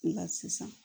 Nka sisan